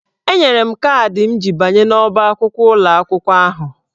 Enyere m kaadị m ji abanye n'ọ́bá akwụkwọ ụlọ akwụkwọ ahụ.